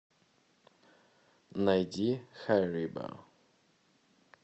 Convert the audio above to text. найди хэррибо